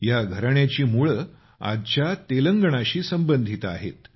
या घराण्याची मुळे आजच्या तेलंगणाशी संबंधित आहेत